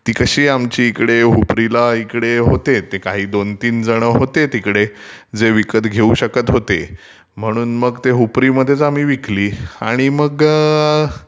ती कशी आमटी इकडे उपरीला ओळखीचे होते ते काही दोन तीन जण होते तिकडं जे विकत घेऊ शकतं होते, म्ङणून मग ते उपरीमध्येचं आम्ही विकली, आणि मग